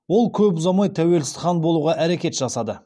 ол көп ұзамай тәуелсіз хан болуға әрекет жасады